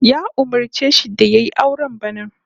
Ya umurce shi da yayi aure bana